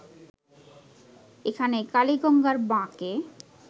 এখানে কালিগঙ্গার বাঁকে